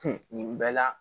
Kun bɛɛ la